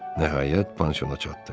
Nəhayət, panşona çatdı.